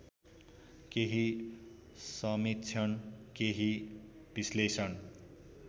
केही समीक्षण केही विश्लेषण